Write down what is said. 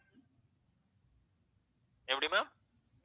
எப்படி ma'am